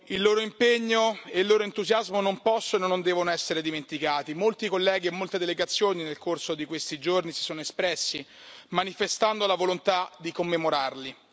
Il loro impegno e il loro entusiasmo non possono e non devono essere dimenticati, molti colleghi e molte delegazioni nel corso di questi giorni si sono espressi, manifestando la volontà di commemorarli.